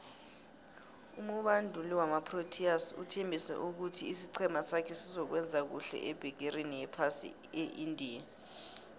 umubanduli wamaproteas uthembise ukuthi isicema sakhe sizokuwenza khuhle ebegerini yephasi eindia